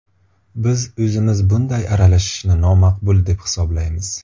Biz o‘zimiz bunday aralashishni nomaqbul deb hisoblaymiz.